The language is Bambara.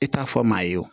I t'a fɔ maa ye wo